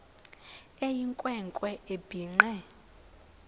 eyinkwe nkwe ebhinqe